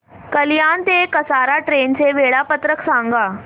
कल्याण ते कसारा ट्रेन चे वेळापत्रक सांगा